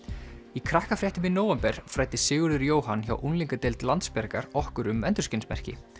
í Krakkafréttum í nóvember fræddi Sigurður Jóhann hjá unglingadeild Landsbjargar okkur um endurskinsmerki